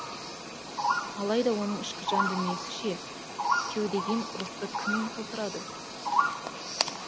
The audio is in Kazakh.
алайда оның ішкі жан дүниесі ше кеудеген рухты кім толтырады